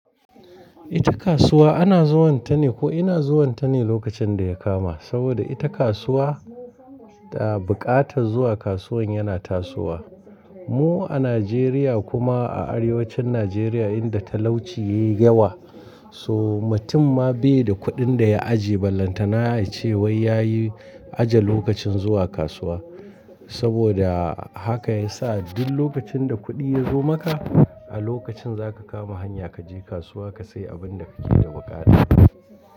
Ita kasuwa ana zuwanta ne ko ina zuwanta ne lokacin da ya kama. Saboda ita kasuwa da buƙatar zuwa kasuwan yana tasowa. Mu a Najeriya kuma a arewacin Najeriya inda talauci yayi yawa, so mutum ma bai da kuɗin da ya ajiye ballanta na a ce wai yayi aje lokacin zuwa kasuwa. Saboda haka yasa duk lokacin da kuɗi yazo maka a lokacin zaka kama hanya kaje kasuwa ka sai abin da kake da buƙata.